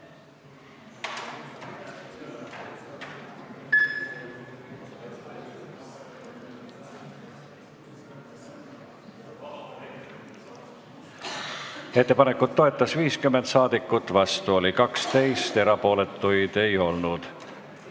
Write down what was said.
Hääletustulemused Ettepanekut toetas 50 rahvasaadikut, vastu oli 12, erapooletuid ei olnud.